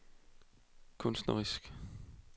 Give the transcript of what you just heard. kunstnerisk